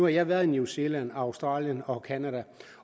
jeg været i new zealand australien og canada